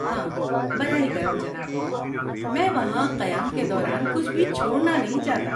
ہاں، براہ کرم جناب، میں وہاں قیام کے دوران کچھ بھی چھوڑنا نہیں چاہتا۔